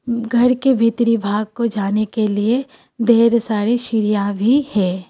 घर के भीतरी भाग को जाने के लिए ढेर सारी सीरिया भी है।